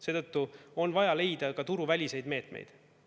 Seetõttu on vaja leida ka turuväliseid meetmeid.